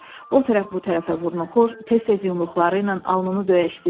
O tərəf bu tərəfə vurnuxur, tez-tez yumruqları ilə alnını döyəcləyirdi.